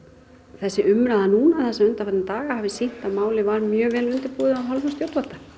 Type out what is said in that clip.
þessi umræða núna þessa undanfarna daga hafi sýnt að málið var mjög vel undirbúið að hálfu stjórnvalda